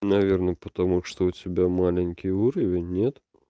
наверное потому что у тебя маленький уровень нет